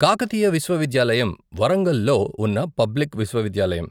కాకతీయ విశ్వవిద్యాలయం వరంగల్ లో ఉన్న పబ్లిక్ విశ్వవిద్యాలయం.